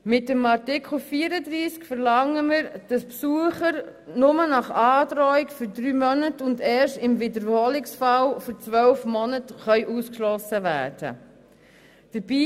Mit Artikel 34 verlangen wir, dass Besucher nur nach Androhung für drei Monate und erst im Wiederholungsfall für zwölf Monate ausgeschlossen werden können.